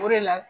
O de la